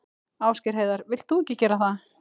Ásgeir Heiðar: Vilt þú ekki gera það?